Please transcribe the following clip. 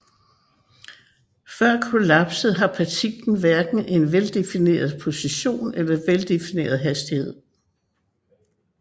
Før kollapset har partiklen hverken en veldefineret position eller veldefineret hastighed